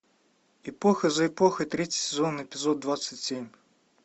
эпоха за эпохой третий сезон эпизод двадцать семь